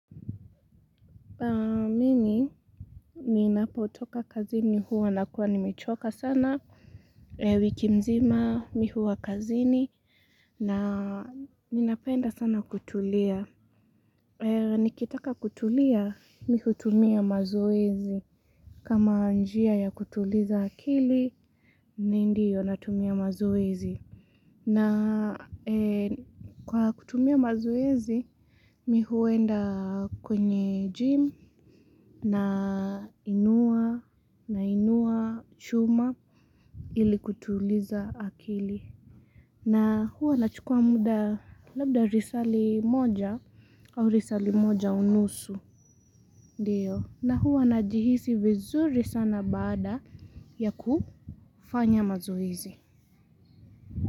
Ninapotoka kazini huwa nakuwa nimechoka sana wiki mzima mi huwa kazini na ninapenda sana kutulia. Nikitaka kutulia mi hutumia mazoezi. Kama njia ya kutuliza akili, ni ndiyo natumia mazoezi. Na kwa kutumia mazoezi, mi huenda kwenye gym nainua chuma ili kutuliza akili. Na huwa nachukua muda labda risali moja au risali moja unusu. Na huwa najihisi vizuri sana baada ya kufanya mazoezi.